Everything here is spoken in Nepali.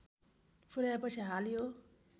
पुर्‍याएछि हाल यो